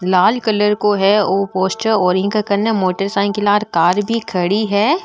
लाल colour को है ओ पोस्टर और ईके काने मोटर साइकिल और कार भी खड़ी है।